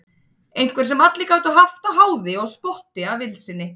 Einhver sem allir gátu haft að háði og spotti að vild sinni.